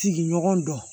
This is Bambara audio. Sigiɲɔgɔn dɔn